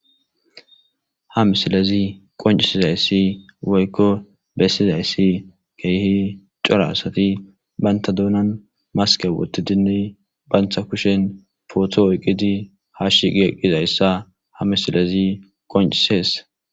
Ha misilezi qoncisizayssi woykko bessizayssi keehi corasati banta duunan maske woti dinni bantha kushen pooto oyqidi hashiqi eqqizayssa ha misilezi qoncisees.